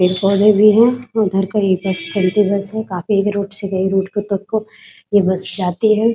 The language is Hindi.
पेड़ पौधे भी है उधर कोई चलती बस है ये बस जाती है ।